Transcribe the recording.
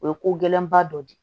O ye ko gɛlɛn ba dɔ de ye